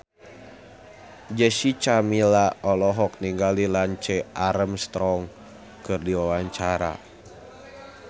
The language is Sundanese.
Jessica Milla olohok ningali Lance Armstrong keur diwawancara